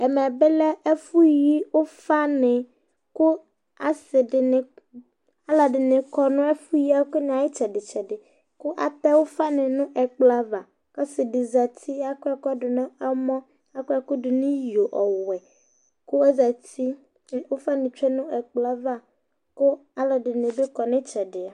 ɛmɛ lɛ ɛfʊ yi ufanɩ, kʊ asidɩnɩ kɔ nʊ ɛfʊ yi ɛkʊ ayʊ itsɛdɩ itsɛdɩ, kʊ atɛ ufanɩ nʊ ɛkplɔ ava, ɔsidɩ zati akɔ ɛkʊ dʊ nʊ ɛmɔ, akɔ ɛkʊ dʊ nʊ iyo ɔwɛ, kʊ ɔzati kʊ ufawanɩ tsue nʊ ɛkplɔ yɛ ava kʊ alʊɛdɩnɩ bɩ kɔ nʊ itsɛdɩ